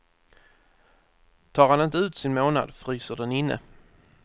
Tar han inte ut sin månad fryser den inne.